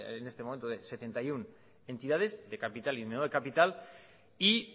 de en estos momentos setenta y uno entidades de capital y de no de capital y